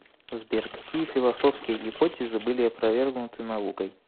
сбер какие философские гипотезы были опровергнуты наукой